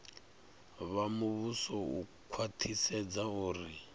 vha muvhuso u khwaṱhisedza uri